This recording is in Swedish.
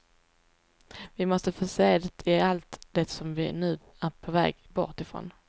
Vi måste få se det i allt det som vi nu är på väg bort ifrån.